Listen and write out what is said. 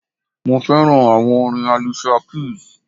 Mo fẹ́ràn àwọn orin Alicia Keys.